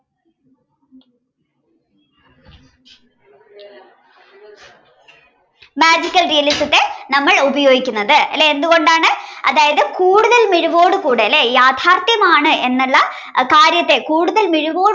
magical realism ത്തെ നമ്മൾ ഉപയോഗിക്കുന്നത് അല്ലേ എന്തുകൊണ്ടാണ് അതായത് കൂടുതൽ മിഴിവോടെ കൂടെ അല്ലേ യാഥാർത്ഥ്യമാണ് എന്നുള്ള കാര്യത്തെ കൂടുതൽ മിഴിവോടെ കൂടെ